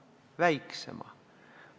Väiksema!